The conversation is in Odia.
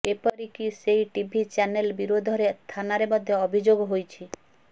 ଏପରିକି ସେହି ଟିଭି ଚ୍ୟାନେଲ ବିରୋଧରେ ଥାନାରେ ମଧ୍ୟ ଅଭିଯୋଗ ହୋଇଛି